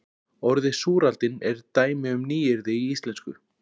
Orðið súraldin er dæmi um nýyrði í íslensku.